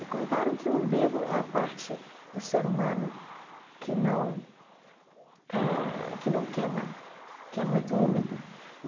Me contaram que o umbigo é a parte do ser humano que não eh que não queima, que é muito úmido e.